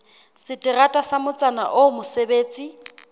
seterata sa motsana oo mosebetsi